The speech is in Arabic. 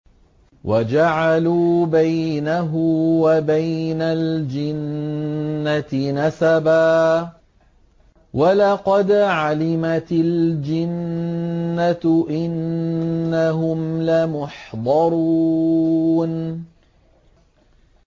وَجَعَلُوا بَيْنَهُ وَبَيْنَ الْجِنَّةِ نَسَبًا ۚ وَلَقَدْ عَلِمَتِ الْجِنَّةُ إِنَّهُمْ لَمُحْضَرُونَ